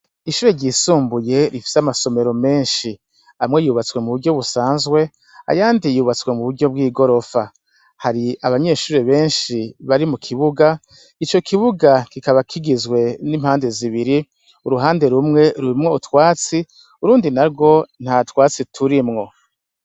Ishure ryisumbuye rifise amasomero menshi, amwe yubatswe muburyo busanzwe ayandi yubatswe muburyo bw'igorofa, hari abanyeshure benshi bari mukibuga, ico kibuga kikaba kigizwe n'impande zibiri, ruhande rumwe rurimwo utwatsi, urundi narwo ntatwatsi turimwo.